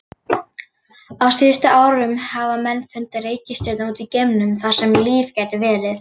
Á síðustu árum hafa menn fundið reikistjörnur út í geimnum þar sem líf gæti verið.